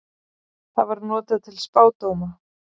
Það var notað til spádóma.